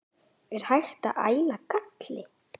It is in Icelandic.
Er hægt að æla galli?